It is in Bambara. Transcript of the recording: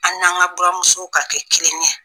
An n'an ka buramusow ka kɛ kelen ye.